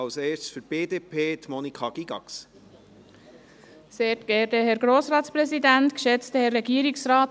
Als Erste hat für die BDP Monika Gygax das Wort.